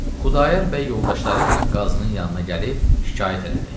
Xudayar bəy yoldaşları ilə qazının yanına gəlib şikayət elədi.